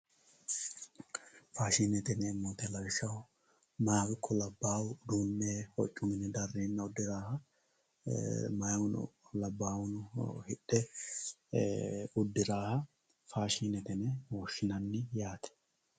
faashshine yineemmo woyte mayha ikko labbaha lawishsha uduunne darreenna mayhuno labbahuno hidhe uddiraaha faashshinete yine woshshinayi yaate